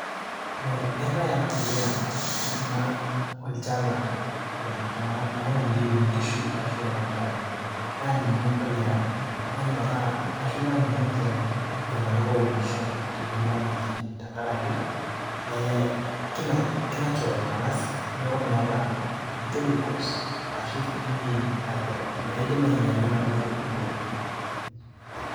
eh, eetae ena puliya ena olchala ena modiei onkishu ashu enontare naa ninye empuliya nanyorra ashu nanyorr ninche iltung'anak ounisho temurua natii tenkaraki eh, ki natural ang'as neku meeta chemicals ashu any naidim ainyiala enaduo aitubuluai.